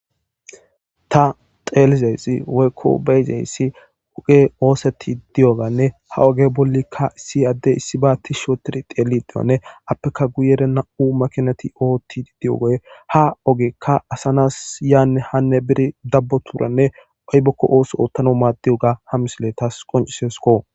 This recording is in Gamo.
ta xeelizeyssi woykko be7zeyssi oge ooseti diyoganne ha oge bollikka issi addey issi baatti shootiri teelidiwanne appeka guyere na7u makinati ootti di7ogoy ha ogekka asanas yaanne hanne biri dabboturanne aybokko ooso oottano maaddi7oga ha misiletas qonciseskko.